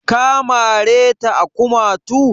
Ka mare ta a kumatu?